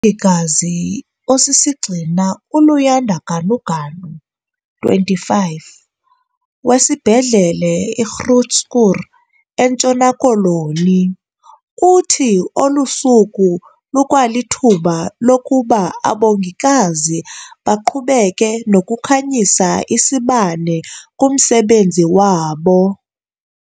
Umongikazi osisigxina uLuyanda Ganuganu, 25, wesiBhedlele i-Groote Schuur eNtshona Koloni, uthi olu suku lukwalithuba lokuba abongikazi baqhubeke nokukhanyisa isibane kumsebenzi wabo.